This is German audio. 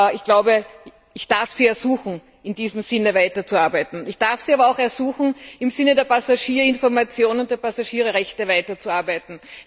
Ich darf Sie ersuchen, in diesem Sinn weiterzuarbeiten, ich darf Sie aber auch ersuchen, im Sinne der Passagierinformation und der Passagierrechte weiterzuarbeiten!